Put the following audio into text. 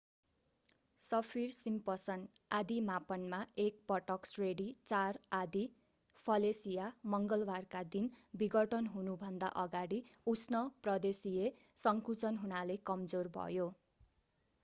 Saffir-Simpson आँधी मापनमा एक पटक श्रेणी 4 आँधी फेलिसिया मङ्गलवारका दिन विघटन हुनुभन्दा अगाडि उष्ण प्रदेशिय संकुचन हुनाले कमजोर भयो